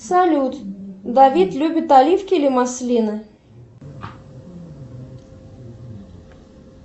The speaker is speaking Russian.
салют давид любит оливки или маслины